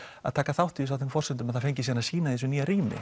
að taka þátt í þessu á þeim forsendum að það fengi síðan að sýna í þessu nýja rými